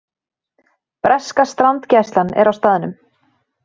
Breska strandgæslan er á staðnum